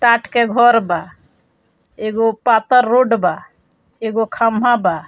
काठ के घर बा। एगो पातर रोड बा। एगो खम्भा बा।